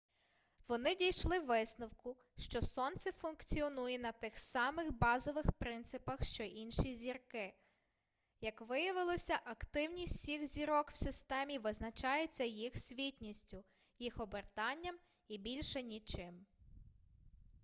вони дійшли висновку що сонце функціонує на тих самих базових принципах що й інші зірки як виявилося активніть всіх зірок в системі визначається їх світністю їх обертанням і більше нічим